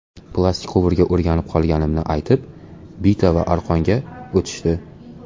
Plastik quvurga o‘rganib qolganimni aytib, bita va aqronga o‘tishdi.